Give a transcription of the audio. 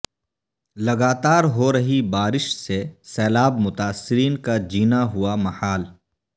لگاتار ہو رہی بارش سے سیلاب متاثرین کا جینا ہوا محال